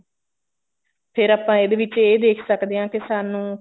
ਫੇਰ ਆਪਾਂ ਇਹਦੇ ਵਿੱਚ ਇਹ ਦੇਖ ਸਕਦੇ ਹਾਂ ਕੇ ਸਾਨੂੰ